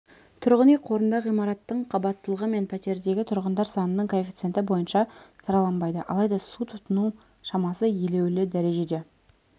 тұрғын үй қорында ғимараттың қабаттылығы мен пәтердегі тұрғындар санының коэффициенті бойынша сараланбайды алайда су тұтыну шамасы елеулі дәрежеде